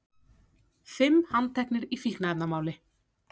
Fimm handteknir í fíkniefnamáli